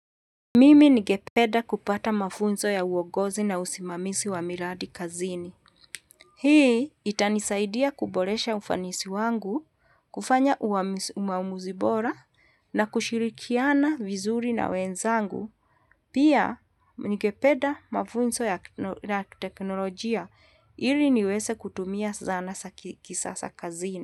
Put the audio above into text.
Mimi ningependa kupata mafunzo ya uongozi na usimamizi wa miradi kazini. Hii itanisaidia kuboresha ufanisi wangu, kufanya uamuzi bora na kushirikiana vizuri na wenzangu. Pia ningependa mafunzo ya teknolojia ili niweze kutumia zana za kisasa kazini.